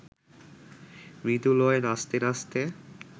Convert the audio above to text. মৃদু লয়ে নাচতে নাচতে